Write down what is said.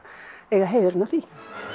eiga heiðurinn að því